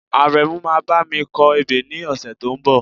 Àrẹ̀mú máa bá mi kọ ebè ní ọ̀sẹ̀ tó ń bọ̀